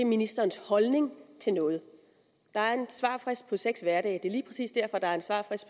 ministerens holdning til noget der er en svarfrist på seks hverdage det er lige præcis derfor det er en svarfrist